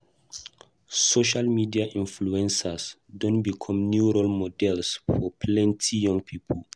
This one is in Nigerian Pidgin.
Social media influencers don become new role models for plenty young pipo.